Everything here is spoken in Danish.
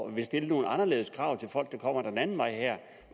at ville stille nogle anderledes krav til folk som kommer den anden vej her